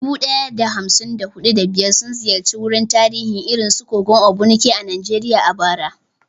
Dubu ɗaya da hamsin da huɗu, da biyar sun ziyarci wuraren tarihi irin su kogon Ogbunike a Najeriya a bara.